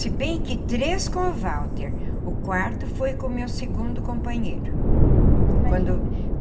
Se bem que três com o Walter, o quarto foi com o meu segundo companheiro quando.